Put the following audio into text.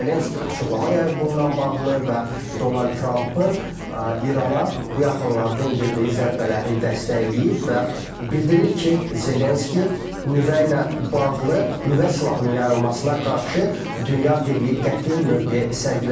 Vladimir Zelenski açıqlama yayıb bununla bağlı və Donald Trampın İrana bu yaxınlarda endirdiyi zərbələri dəstəkləyib və bildirir ki, Zelenski nüvə ilə bağlı, nüvə silahının yayılmasına qarşı dünya birliyi qəti mövqe sərgiləməlidir.